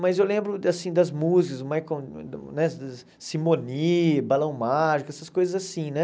Mas eu lembro, assim, das músicas, Michael né Simone, Balão Mágico, essas coisas assim, né?